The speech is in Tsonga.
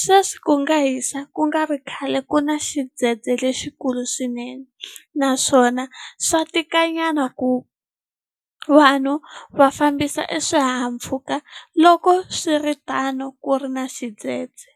sweswi ku nga hisa ku nga ri khale ku na xidzedze lexikulu swinene naswona swa tika nyana ku vanhu va fambisa e swihahampfhuka loko swiritano ku ri na xidzedze.